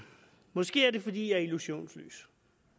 måske er det fordi jeg er illusionsløs